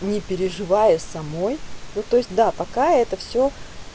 не переживай у самой то то есть да пока это всё